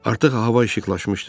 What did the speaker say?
Artıq hava işıqlaşmışdı.